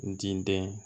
N diden